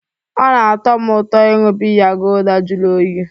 Ọ na-atọ m ụtọ ịṅụ biya gulder jụrụ oyi